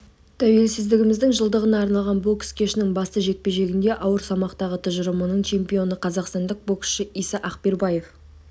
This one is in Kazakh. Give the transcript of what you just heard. тәуелсіздігіміздің жылдығына арналған бокс кешінің басты жекпе-жегінде ауыр салмақтағы тұжырымының тұжырымының чемпионы қазақстандық боксшы иса акбербаев